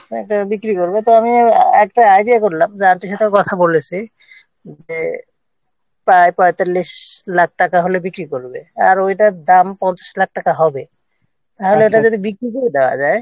তো একটা বিক্রি করবে একটা idea করে Aunty-র সাথে কথা বলেছি যে তার পয়েতাল্লিশ লাখ টাকা হলে বিক্রি করবে আর ওইটার দাম পঞ্চাশ লাখ টাকা হবে তাহলে ওটা যদি বিক্রি দেওয়া যায়